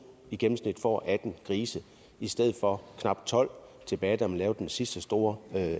i gennemsnit får atten grise i stedet for de knap tolv tilbage da man lavede den sidste store